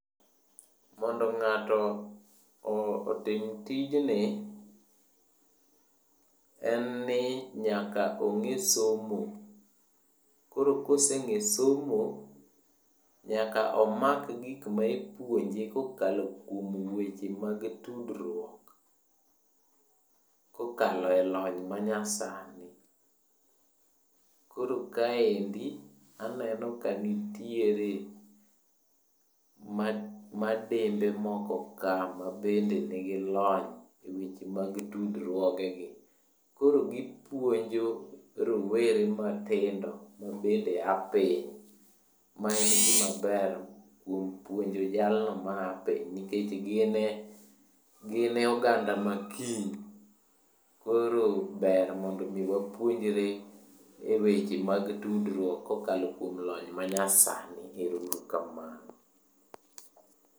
Mondo ng'ato otim tijni, en ni nyaka ong'e somo. Koro koseng'e somo, nyaka omak gik ma ipuonje kokalo kuom weche mag tudruok kokalo e lony manyasani. Koro kaendi aneno ka nitiere madembe moko ka mabende nigi lony e weche mag tudruogegi. Koro gipuonjo rowere matindo mabende a pinj ,mabende en gimaber kuom puonjo jalno maya piny nikech gin e oganda makiny. Koro ber mondo mi wapuonjre weche mag tudruok kokalo kuom lony manyasani. Ero uru kamano.